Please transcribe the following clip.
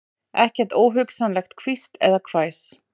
Ekkert óhugnanlegt hvísl eða hvæs.